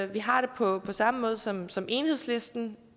vi har det på samme måde som som enhedslisten